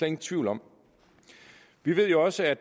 ingen tvivl om vi ved jo også at